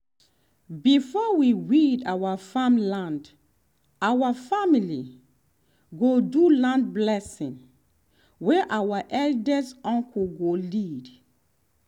before we weed our farm land our family go do land blessing wey our eldest uncle go lead